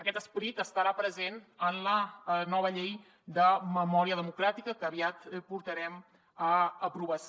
aquest esperit estarà present en la nova llei de memòria democràtica que aviat portarem a aprovació